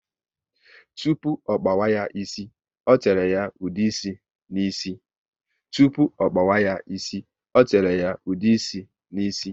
Tupu ọ kpawa ya ísì, o tere ya ude ịsị ná ísì